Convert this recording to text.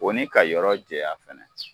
O ka yɔrɔ jɛya fana